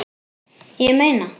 Ég meina.